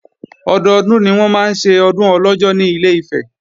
Ọdọdún ni wọ́n máa ń ṣe Ọdún Ọlọ́jọ́ ní Ilé-Ifẹ̀